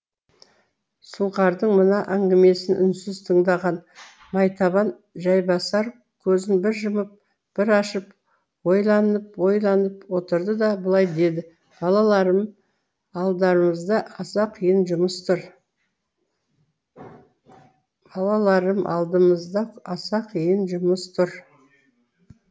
сұңқардың мына әңгімесін үнсіз тыңдаған майтабан жайбасар көзін бір жұмып бір ашып ойланып ойланып отырды да былай деді балаларым алдымызда аса қиын жұмыс тұр